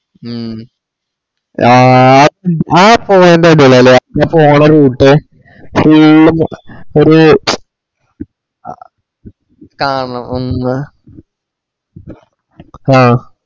മ്മ് അ ആ point അടിപൊളിയാലേ ആ പോണ routefull ഒര് കാണണം ഹും